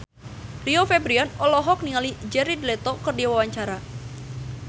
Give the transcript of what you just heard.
Rio Febrian olohok ningali Jared Leto keur diwawancara